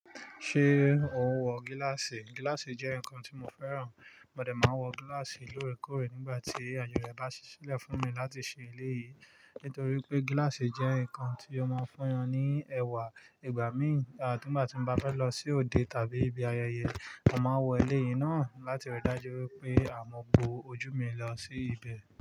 Ṣé o ń wọ gíláàsì? Gíláàsì jẹ́ nǹkan tí mo fẹ́ràn. Mọ dẹ́ máa n wọ gíláàsì lóore kóòrè nígbà tí àye re bá ṣi lẹ̀ fún mi láti ṣe eléyìí. Nítorí pé gíláàsì jẹ́ nǹkan tí ó máa ń fún yan ní ẹwà ìgbà míì. Igba ki igba tí mo bá fẹ́ lọ sí òde tàbí ibi ayẹyẹ, mo máa wọ eleyìí náà láti ri dájú wípé a mọ bó ojú mi lọ sí ibẹ̀